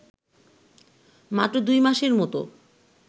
মাত্র দুই মাসের মতো